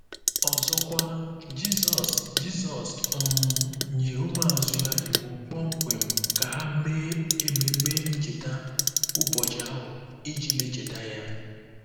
Ọzọkwa, Jizọs Jizọs um nyere ụmụazụ ya iwu kpọmkwem ka ha mee ememe ncheta ụbọchị ahụ iji na-echeta ya.